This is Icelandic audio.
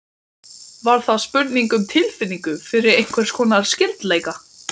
Nei, ég hjálpaði henni, staðhæfir hún mildilega.